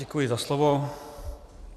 Děkuji za slovo.